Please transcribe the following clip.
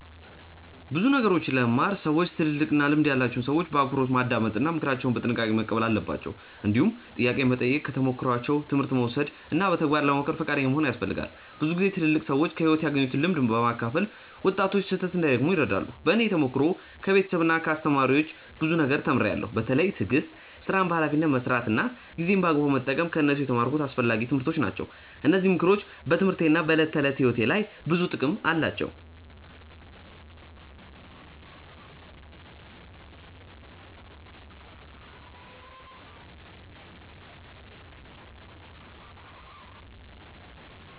ብዙ ነገሮችን ለመማር ሰዎች ትልልቅና ልምድ ያላቸውን ሰዎች በአክብሮት ማዳመጥ እና ምክራቸውን በጥንቃቄ መቀበል አለባቸው። እንዲሁም ጥያቄ መጠየቅ፣ ከተሞክሯቸው ትምህርት መውሰድ እና በተግባር ለመሞከር ፈቃደኛ መሆን ያስፈልጋል። ብዙ ጊዜ ትልልቅ ሰዎች ከሕይወት ያገኙትን ልምድ በማካፈል ወጣቶች ስህተት እንዳይደግሙ ይረዳሉ። በእኔ ተሞክሮ ከቤተሰብና ከአስተማሪዎች ብዙ ነገር ተምሬያለሁ። በተለይ ትዕግስት፣ ሥራን በኃላፊነት መስራት እና ጊዜን በአግባቡ መጠቀም ከእነሱ የተማርኩት አስፈላጊ ትምህርቶች ናቸው። እነዚህ ምክሮች በትምህርቴና በዕለት ተዕለት ሕይወቴ ላይ ብዙ ጥቅም አላቸው።